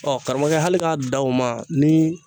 karamɔgɔkɛ hali ka dan o ma ni.